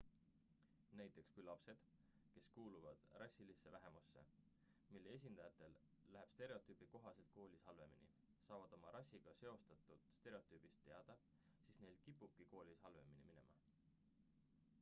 näiteks kui lapsed kes kuuluvad rassilisse vähemusse mille esindajatel läheb stereotüübi kohaselt koolis halvemini saavad oma rassiga seostatud stereotüübist teada siis neil kipubki koolis halvemini minema